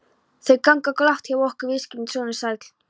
Þau ganga glatt hjá okkur viðskiptin, sonur sæll.